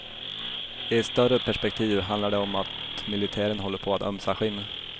I ett större perspektiv handlar det om att militären håller på att ömsa skinn.